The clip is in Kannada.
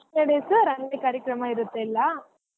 ಹಾ first days ರಂಗೋಲಿ ಕಾರ್ಯಕ್ರಮ ಇರತ್ತೆ ಎಲ್ಲ.